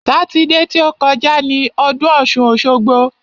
Sátidé ti ó kọjá ni ọdún ọ̀ṣun-òṣogbo.